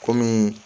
Kɔmi